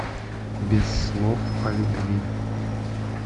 без слов о любви